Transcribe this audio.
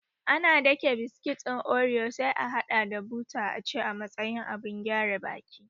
Ana dake biskit ɗin oriyo sai a haɗa da buta aci a matsayin abun gyare baki